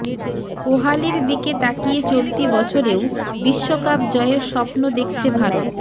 কোহালির দিকে তাকিয়ে চলতি বছরেও বিশ্বকাপ জয়ের স্বপ্ন দেখছে ভারত